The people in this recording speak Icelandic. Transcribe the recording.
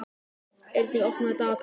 Eirný, opnaðu dagatalið mitt.